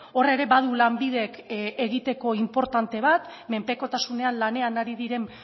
hor ere badu lanbidek egiteko inportante bat menpekotasunean lanean ari diren